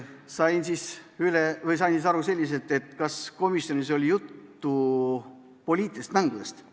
Sain küsimusest aru selliselt, et kas komisjonis oli juttu poliitilistest mängudest.